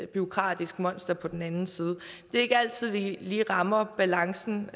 bureaukratisk monster på den anden side det er ikke altid vi vi rammer balancen